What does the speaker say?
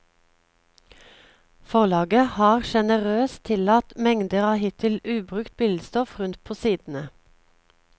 Forlaget har generøst tillatt mengder av hittil ubrukt billedstoff rundt på sidene.